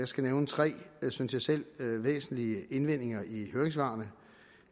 skal nævne tre synes jeg selv væsentlige indvendinger i høringssvarene